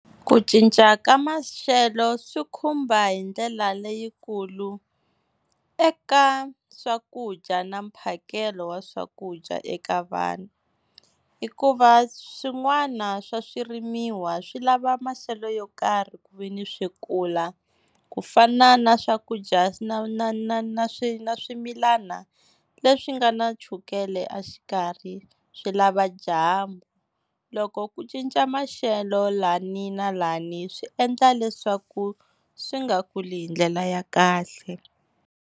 Ku cinca ka maxelo swi khumba hi ndlela leyikulu eka swakudya na mphakelo wa swakudya eka vanhu, hikuva swin'wana swa swirimiwa swi lava maxelo yo karhi ku veni swi kula, ku fana na swakudya na na swimilana leswi nga na chukele a xikarhi swi lava dyambu. Loko ku cinca maxelo lani na lani swi endla leswaku swi nga kuli hi ndlela ya kahle.